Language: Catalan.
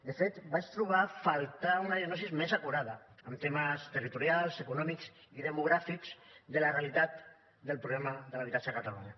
de fet vaig trobar a faltar una diagnosi més acurada en temes territorials econòmics i demogràfics de la realitat del problema de l’habitatge a catalunya